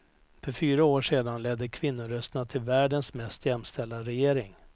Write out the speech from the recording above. För fyra år sedan ledde kvinnorösterna till världens mest jämställda regering.